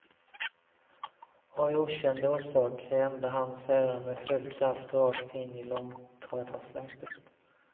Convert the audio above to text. Av okänd orsak rände han sedan med full kraft rakt in i långtradarsläpet.